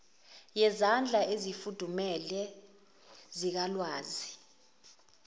yezandla ezifudumele zikalwazi